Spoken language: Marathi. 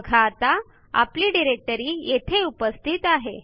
बघा आता आपली डिरेक्टरी येथे उपस्थित आहे